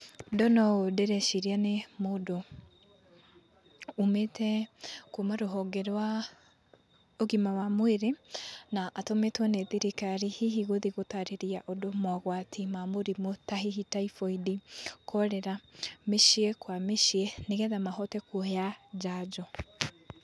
Ndona ũũ ndĩreciria nĩ mũndũ umĩte kuma rũhonge rwa ũgima wa mwĩrĩ na atũmĩtwo nĩ thirikari hihi gũthiĩ gũtarĩria ndũ mogwati ma mũrimũ ta Typhoid, Cholera, mĩciĩ kwa mĩciĩ nĩ getha mahote kũheana njanjo.